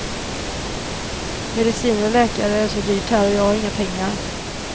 Mediciner och läkare är så dyrt här och jag har inga pengar.